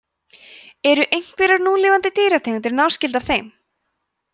eru einhverjar núlifandi dýrategundir náskyldar þeim